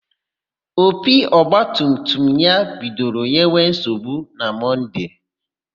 Opi ọgbatumtum ya bidoro nyewe nsogbu na Mọnde.